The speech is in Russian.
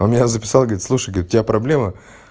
она меня записала говорит слушай говорит у тебя проблемы